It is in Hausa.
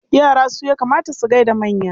Yara su ya kamata su gai da manya.